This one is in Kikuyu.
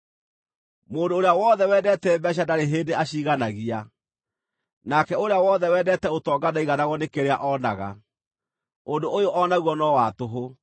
Mũndũ ũrĩa wothe wendeete mbeeca ndarĩ hĩndĩ aciiganagia; nake ũrĩa wothe wendeete ũtonga ndaiganagwo nĩ kĩrĩa oonaga. Ũndũ ũyũ o naguo no wa tũhũ.